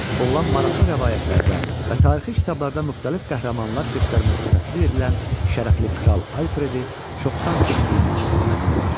Oğlan maraqlı rəvayətlərdə və tarixi kitablarda müxtəlif qəhrəmanlar göstərməsi təsvir edilən şərəfli kral Alfredi çoxdan keçdiyinə əmin oldu.